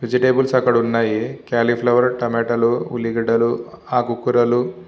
Vegetables అక్కడ ఉన్నాయి. Cauliflower టమాట లు ఉల్లిగడలు ఆకూ కూరలు--